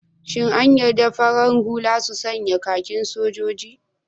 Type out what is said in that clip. Shin an yarda farar hula su sanya kakin soja?